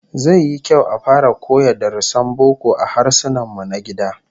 Zai yi kyau a fara koya darussan boko a Harsunanmu na gida